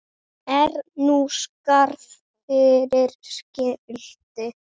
Er nú skarð fyrir skildi.